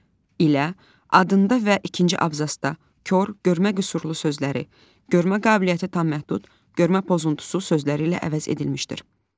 ilə adında və ikinci abzasda “kor, görmə qüsurlu” sözləri “görmə qabiliyyəti tam məhdud, görmə pozuntusu” sözləri ilə əvəz edilmişdir.